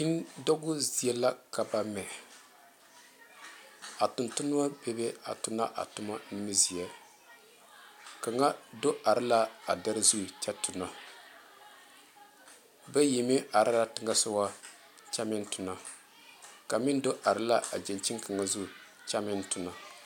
Bine dɔɔbo zie la ka ba mɛ a tuŋ tuma bebe a tuna ba tuma nimiziɛ kaŋa do are la a dere zu kyɛ tuna bayi meŋ are la teŋa soga kyɛ meŋ tuna kaŋ meŋ do are la a gyankyini kaŋa zu kyɛ meŋ tuna.